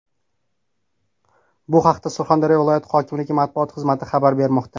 Bu haqda Surxondaryo viloyati hokimligi matbuot xizmati xabar bermoqda.